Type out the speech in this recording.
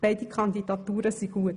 Beide Kandidaturen sind gut.